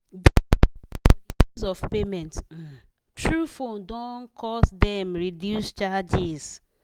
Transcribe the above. de increase for de use of payment um through phone don cause dem reduce charges.